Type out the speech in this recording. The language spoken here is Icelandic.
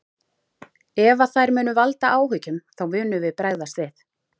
Ef að þær munu valda áhyggjum þá munum við bregðast við.